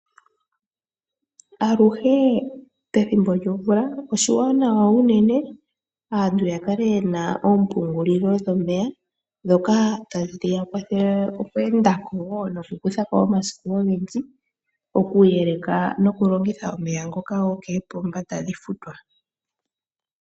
Aluhe pethimbo lyomvula, oshiwanawa unene opo aantu yakale yena oompungulilo dhomeya, ndhoka tadhi ya kwathele okweendako, oshowo okukuthako omasiku ogendji, okuyeleka nokulongitha omeya ngoka gokoopomba tadhi futwa.